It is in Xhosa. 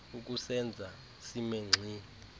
ukusenza sime ngxi